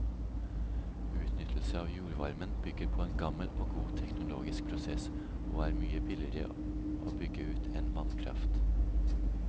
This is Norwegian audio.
Utnyttelse av jordvarmen bygger på en gammel og god teknologisk prosess, og er mye billigere å bygge ut enn vannkraft.